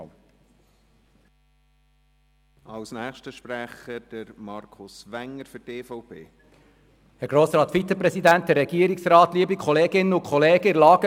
In der Lagebeurteilung geht die EVP von der gleichen Sicht wie die glp aus.